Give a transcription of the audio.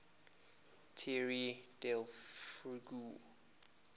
tierra del fuego